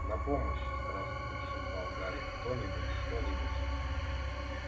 на помощь страстно шептал гарри кто-нибудь что-нибудь